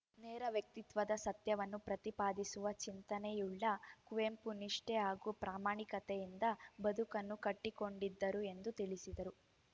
ನೇರ ವ್ಯಕ್ತಿತ್ವದ ಸತ್ಯವನ್ನು ಪ್ರತಿಪಾದಿಸುವ ಚಿಂತನೆಯುಳ್ಳ ಕುವೆಂಪು ನಿಷ್ಠೆ ಹಾಗೂ ಪ್ರಾಮಾಣಿಕತೆಯಿಂದ ಬದುಕನ್ನು ಕಟ್ಟಿಕೊಂಡಿದ್ದರು ಎಂದು ತಿಳಿಸಿದರು